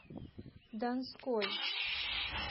донской